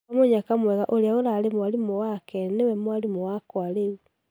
Kwa mũnyaka mwega ũria ũrare mwarimũ wake niwe mwarimũ wakwa rĩu.